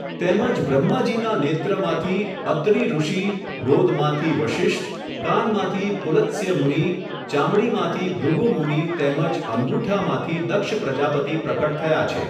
તેમજ બ્રહ્માજીનાં નેત્રમાંથી અત્રિ ઋષિ, ગોદમાંથી વશિષ્ઠ, કાનમાંથી પુલત્સ્ય મુનિ, ચામડીમાંથી ભૃગુ મુનિ તેમજ અંગુઠામાંથી દક્ષ પ્રજાપતિ પ્રકટ થયા છે.